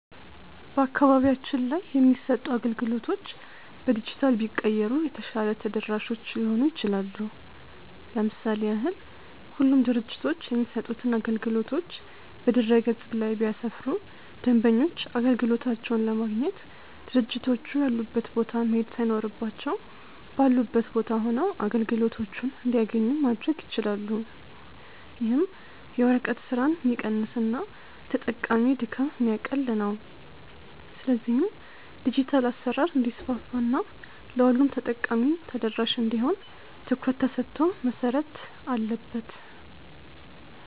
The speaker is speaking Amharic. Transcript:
በአካባቢያችን ላይ የሚሰጡ አገልግሎቶች በዲጂታል ቢቀየሩ የተሻለ ተደራሾች ሊሆኑ ይችላሉ። ለምሳሌ ያህል ሁሉም ድርጅቶች የሚሰጡትን አገልግሎቶች በድረ-ገጽ ላይ ቢያሰፍሩ ደንበኞች አገልግሎቶቻቸውን ለማግኘት ድርጅቶቹ ያሉበት ቦታ መሄድ ሳይኖርባቸው ባሉበት ቦታ ሆነው አገልግሎቶችን እንዲያገኙ ማድረግ ይችላሉ። ይህም የወረቀት ስራን ሚቀንስና የተጠቃሚ ድካም የሚያቀል ነው። ስለዚህም ዲጂታል አሰራር እንዲስፋፋ እና ለሁሉም ተጠቃሚ ተደራሽ እንዲሆን ትኩረት ተሰጥቶ መሰረት አለበት።